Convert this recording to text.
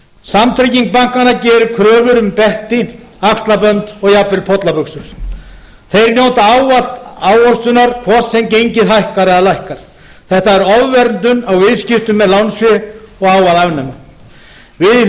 samtrygging bankanna gerir kröfur um belti axlabönd og jafnvel pollabuxur þeir njóta ávallt ávöxtunar hvort sem gengið hækkar eða lækkar þetta er ofverndun á viðskiptum með lánsfé og á að afnema við í